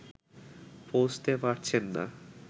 পৌঁছতে পারছেন না